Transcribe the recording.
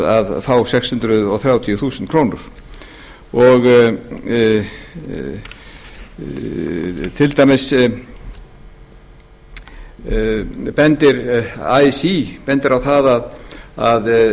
að fá sex hundruð þrjátíu þúsund krónur til dæmis bendir así á að það þurfi að gæta þess að það verði ekki aðrir eigendur að